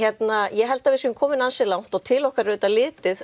ég held að við séum komin ansi langt og til okkar er litið